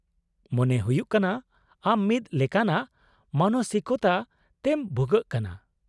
-ᱢᱚᱱᱮ ᱦᱩᱭᱩᱜ ᱠᱟᱱᱟ ᱟᱢ ᱢᱤᱫ ᱞᱮᱠᱟᱱᱟᱜ ᱢᱟᱱᱚᱥᱤᱠᱚᱛᱟ ᱛᱮᱢ ᱵᱷᱩᱜᱟᱹᱜ ᱠᱟᱱᱟ ᱾